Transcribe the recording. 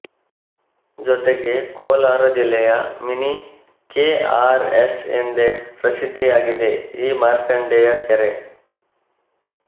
ಜೊತೆಗೆ ಕೋಲಾರ ಜಿಲ್ಲೆಯ mini K R S ಎಂದೇ ಪ್ರಸಿದ್ದಿಯಾಗಿದೆ ಈ ಮಾರ್ಕಂಡೆಯ ಕೆರೆ